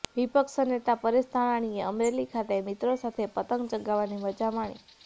વિપક્ષ નેતા પરેશ ધાનાણીએ અમરેલી ખાતે મિત્રો સાથે પતંગ ચગાવવાની મજા માણી